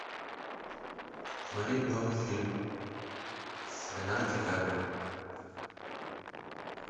смотреть новый фильм с леонардо ди каприо